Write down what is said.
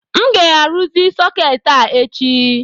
M ga-arụzi sọketi a echi